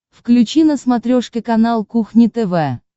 включи на смотрешке канал кухня тв